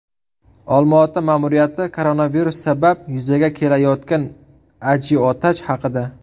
Olmaota ma’muriyati koronavirus sabab yuzaga kelayotgan ajiotaj haqida.